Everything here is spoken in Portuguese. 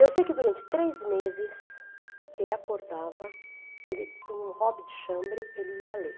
Eu sei que durante três meses ele acordava, ele punha um hobby de chambre, ele ia ler.